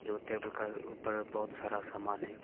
जो टेबल का ऊपर में बहुत सारा सामान है।